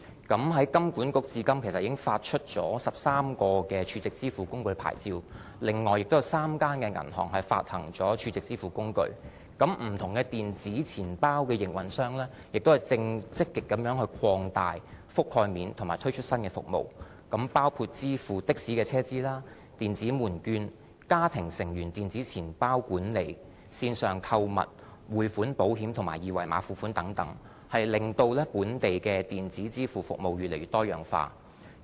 金管局至今已發出13個儲值支付工具牌照，此外亦有3間銀行發行儲值支付工具，不同的電子錢包的營運商正積極地擴大其覆蓋面和推出新服務，包括支付的士的車資、電子門券、家庭成員電子錢包管理、線上購物、匯款、保險和二維碼付款等，令本地的電子支付服務越來越多樣化。